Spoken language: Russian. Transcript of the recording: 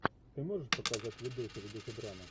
ты можешь показать видосик в духе драмы